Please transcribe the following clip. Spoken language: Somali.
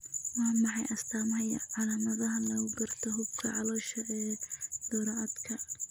Waa maxay astamaha iyo calaamadaha lagu garto xuubka caloosha ee Thoracodka?